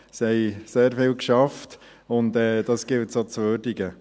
Sie haben sehr viel gearbeitet, und dies gilt es auch zu würdigen.